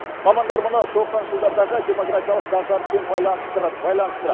мамандар мұны тоқсаныншы жылдардағы демографиялық дағдарыспен байланыстырады